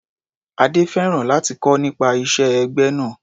Adé fẹ́ràn láti kọ́ nípa ìṣe ẹgbẹ́ náà.